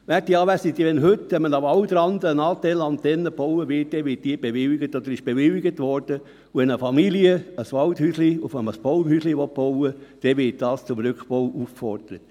Werte Anwesende, wenn heute an einem Waldrand eine Natel-Antenne gebaut wird, dann wird oder wurde diese bewilligt, und wenn eine Familie ein Waldhäuschen aus einem Baumhäuschen bauen will, dann wird diese zum Rückbau aufgefordert.